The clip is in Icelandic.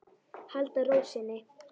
Halda ró sinni.